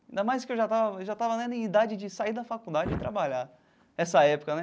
Ainda mais que eu já estava já estava lá na idade de sair da faculdade e trabalhar, essa época, né?